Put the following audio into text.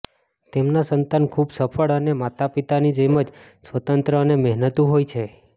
તેમના સંતાન ખૂબ સફળ અને માતાપિતાની જેમ જ સ્વતંત્ર અને મહેનતુ હોય છે